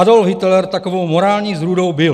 Adolf Hitler takovou morální zrůdou byl.